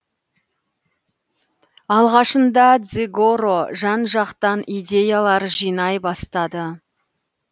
алғашында дзигоро жан жақтан идеялар жинай бастады